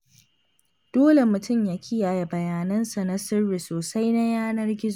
Dole mtum ya kiyaye bayanansa na sirri sosai na yanar-gizo.